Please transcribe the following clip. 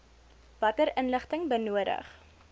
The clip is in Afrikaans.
watter inligting benodig